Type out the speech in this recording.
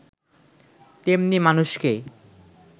তেমনি মানুষকে